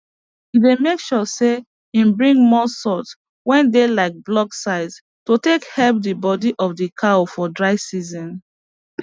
he dey make sure say im bring more salts wey dey like blocks size to take help the body of the cows for dry season